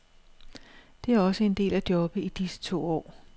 Det er også en del af jobbet i disse to år.